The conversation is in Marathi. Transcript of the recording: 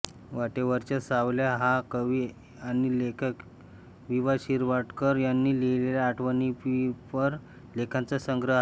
वाटेवरच्या सावल्या हा कवी आणि लेखक वि वा शिरवाडकर यांनी लिहलेला आठवणीपर लेखांचा संग्रह आहे